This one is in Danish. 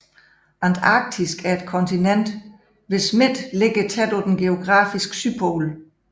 Antarktis er et kontinent hvis midte ligger tæt på den geografiske sydpol